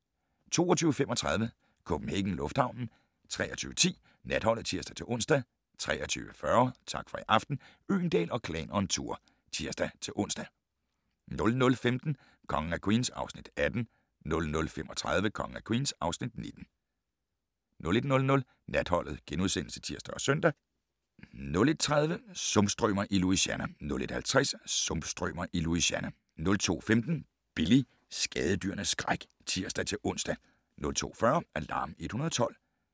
22:35: CPH Lufthavnen 23:10: Natholdet (tir-ons) 23:40: Tak for i aften - Øgendahl & Klan on tour (tir-ons) 00:15: Kongen af Queens (Afs. 18) 00:35: Kongen af Queens (Afs. 19) 01:00: Natholdet *(tir og søn) 01:30: Sumpstrømer i Louisiana 01:50: Sumpstrømer i Louisiana 02:15: Billy - skadedyrenes skræk (tir-ons) 02:40: Alarm 112